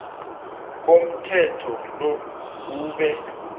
komthetho lo ube